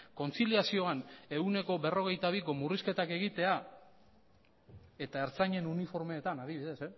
kontziliazioan ehuneko berrogeita biko murrizketak egitea eta ertzainen uniformetan adibidez